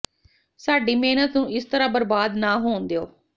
ਸਾਡੀ ਮਿਹਨਤ ਨੂੰ ਇਸ ਤਰ੍ਹਾਂ ਬਰਬਾਦ ਨਾ ਹੋਣ ਦਿਓ